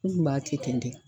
U kun b'a kɛ ten de.